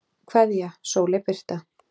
Kveðja, Sóley Birta.